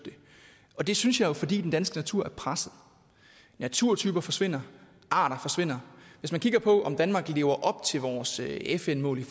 det synes jeg jo fordi den danske natur er presset naturtyper forsvinder og arter forsvinder hvis man kigger på om danmark lever op til vores fn mål